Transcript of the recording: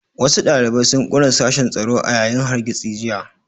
Wasu ɗalibai sun ƙona sashen tsaro a yayin hargitsin jiya